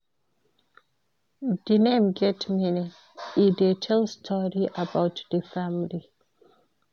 Di name get meaning, e dey tell story about di family.